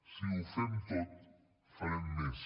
si ho fem tot farem més